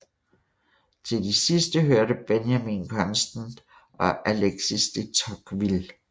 Til de sidste hørte Benjamin Constant og Alexis de Tocqueville